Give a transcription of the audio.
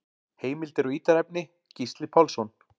Heimildir og ítarefni: Gísli Pálsson.